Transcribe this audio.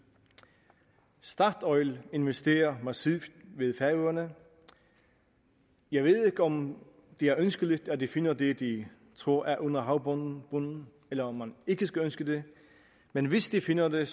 statoil investerer massivt ved færøerne jeg ved ikke om det er ønskeligt at de finder det de tror er under havbunden eller om man ikke skal ønske det men hvis de finder det